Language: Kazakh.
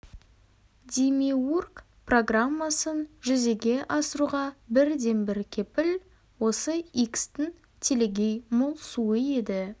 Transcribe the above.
демиург программасын жүзеге асыруға бірден-бір кепіл осы икстің телегей мол суы еді